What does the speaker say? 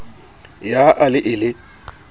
ya a le e le